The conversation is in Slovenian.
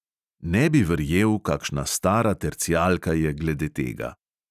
Ne bi verjel, kakšna stara tercijalka je glede tega.